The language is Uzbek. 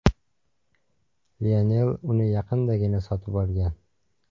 Lionel uni yaqindagina sotib olgan.